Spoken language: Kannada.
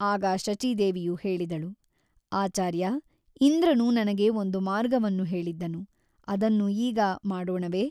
ಆಗ ಶಚೀದೇವಿಯು ಹೇಳಿದಳು ಆಚಾರ್ಯ ಇಂದ್ರನು ನನಗೆ ಒಂದು ಮಾರ್ಗವನ್ನು ಹೇಳಿದ್ದನು ಅದನ್ನು ಈಗ ಮಾಡೋಣವೇ?